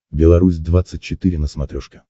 белорусь двадцать четыре на смотрешке